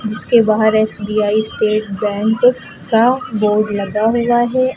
जिसके बाहर S B I state bank का बोर्ड लगा हुआ है।